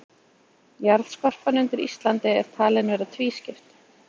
Jarðskorpan undir Íslandi er talin vera tvískipt.